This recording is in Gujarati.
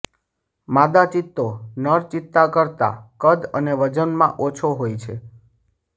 માદા ચિત્તો નર ચિત્તા કરતાં કદ અને વજનમાં ઓછો હોય છે